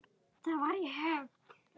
Það var í Höfn.